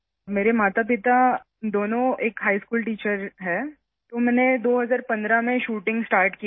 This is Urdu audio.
میرے والدین دونوں ہائی اسکول کے اساتذہ ہیں اور میں نے 2015 ء میں شوٹنگ شروع کی